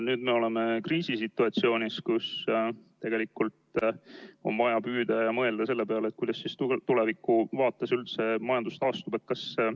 Nüüd me oleme kriisisituatsioonis, kus on vaja mõelda selle peale, kuidas tulevikuvaates üldse majandus taastub.